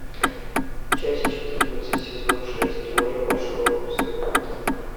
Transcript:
часть четырнадцать сезон шесть теория большого взрыва